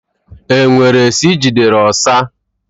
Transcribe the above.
E nwere esi Ị gidere ọsa?